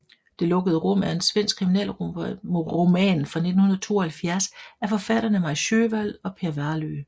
Det lukkede rum er en svensk kriminalroman fra 1972 af forfatterne Maj Sjöwall og Per Wahlöö